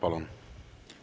Palun!